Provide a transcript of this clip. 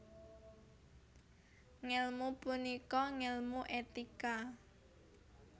Ngèlmu punika ngèlmu etika